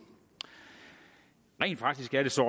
rent faktisk er det så